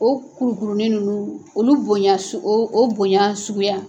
O kurukurunin ninnu, olu bonya o bonya suguya